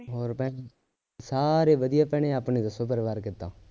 ਹੋਰ ਭੈਣੇ ਸਾਰੇ ਵਧੀਆ ਭੈਣੇ ਆਪਣੇ ਦੱਸੋ ਪਰਿਵਾਰ ਕਿਦਾਂ